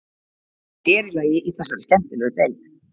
Sér í lagi í þessari skemmtilegu deild.